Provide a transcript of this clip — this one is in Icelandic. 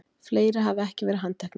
Fleiri hafi ekki verið handteknir